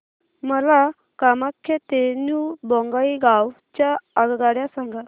मला कामाख्या ते न्यू बोंगाईगाव च्या आगगाड्या सांगा